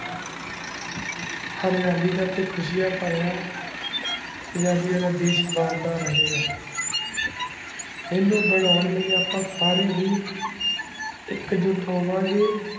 ਹਰਿਯਾਲੀ ਦਾ ਖੁਸ਼ਿਆ ਪਾਰਿਯਾ ਪੰਜਾਬੀ ਆ ਵਾਦੈਯ੍ਸ਼ ਬੰਦਾ ਰਹੀ ਗਾ ਇਨੁ ਬਾਣੋੰ ਲੈ ਆਪਾਂ ਸਾਰੇ ਹੀ ਇਕ ਝੂਟ ਹੋਵਾਂ ਗੇ